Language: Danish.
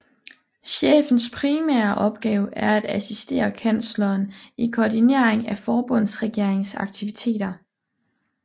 Chefens primære opgave er at assistere kansleren i koordinering af forbundsregeringens aktiviteter